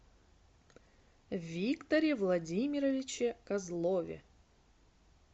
викторе владимировиче козлове